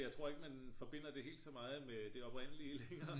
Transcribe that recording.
jeg tror ikke man forbinder det helt så meget med det oprindelige længere